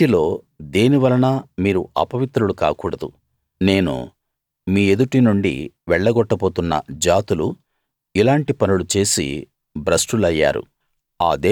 వీటిలో దేనివలనా మీరు అపవిత్రులు కాకూడదు నేను మీ ఎదుటి నుండి వెళ్ల గొట్టబోతున్న జాతులు ఇలాంటి పనులు చేసి భ్రష్టులయ్యారు